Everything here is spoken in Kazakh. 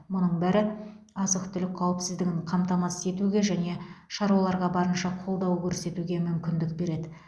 мұның бәрі азық түлік қауіпсіздігін қамтамасыз етуге және шаруаларға барынша қолдау көрсетуге мүмкіндік береді